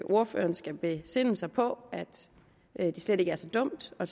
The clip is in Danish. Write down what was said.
ordføreren skal besinde sig på at det slet ikke er så dumt at